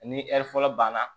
Ni ɛri fɔlɔ banna